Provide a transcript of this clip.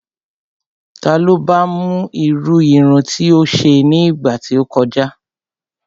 Ta ló ba mú irú irun tí ó ṣe ní ìgbà tí ó kọjá?